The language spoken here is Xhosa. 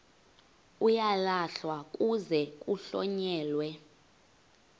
uyalahlwa kuze kuhlonyelwe